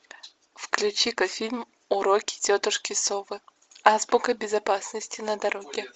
включи ка фильм уроки тетушки совы азбука безопасности на дороге